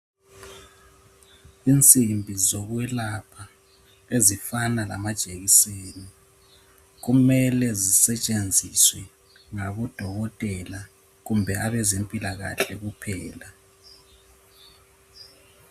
Insimbi zokwelapha ezifana lamajekiseni kumele zisetshenziswe ngabodokotela kumbe abezempilakahle kuphela.